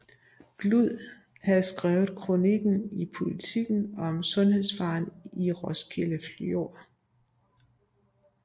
Glud havde skrevet kronikken i Politiken om sundhedsfaren i Roskilde Fjord